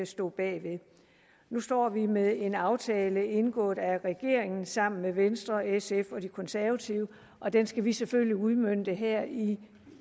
stod bag nu står vi med en aftale indgået af regeringen sammen med venstre sf og de konservative og den skal vi selvfølgelig udmønte her i